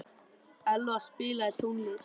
Elvar, spilaðu tónlist.